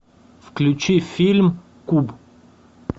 включи фильм куб